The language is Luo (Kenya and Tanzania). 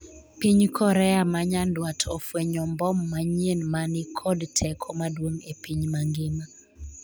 Piny Korea ma nyandwat ofwenyo mbom manyien mani kod teko maduong' e piny mangima